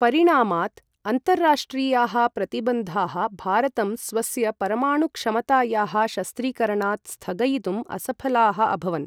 परिणामात्, अन्ताराष्ट्रियाः प्रतिबन्धाः भारतं स्वस्य परमाणु क्षमतायाः शस्त्रीकरणात् स्थगयितुम् असफलाः अभवन्।